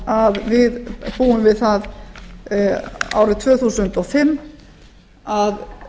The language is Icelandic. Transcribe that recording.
að við búum við það árið tvö þúsund og fimm að